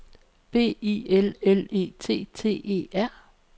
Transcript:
B I L L E T T E R